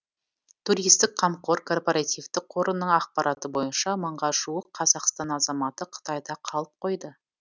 туристік қамқор корпоративтік қорының ақпараты бойынша мыңға жуық қазақстан азаматы қытайда қалып қойды